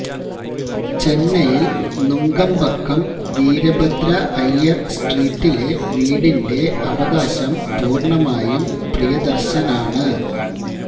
ചെന്നൈല് നുങ്കമ്പക്കം വീരഭദ്രഅയ്യര് സ്ട്രീറ്റിലെ വീടിന്റെ അവകാശം പൂര്ണമായും പ്രിയദര്ശനാണ്